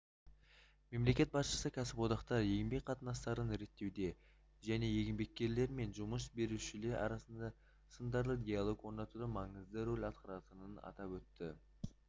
мемлекет басшысы кәсіподақтар еңбек қатынастарын реттеуде және еңбеккерлер мен жұмыс берушілер арасында сындарлы диалог орнатуда маңызды рөл атқаратынын атап өтті